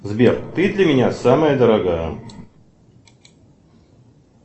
сбер ты для меня самая дорогая